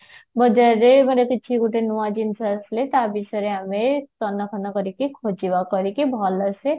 ମୋ ଘର କିଛି ଗୋଟେ ନୂଆ ଜିନିଷ ଆସିଲେ ତା ବିଷୟରେ ଆମେ ତନ ତନ କରିକି ଖୋଜିବା କରିକି ଭଲସେ